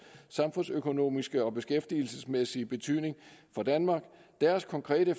samfundsøkonomiske og beskæftigelsesmæssige betydning for danmark deres konkrete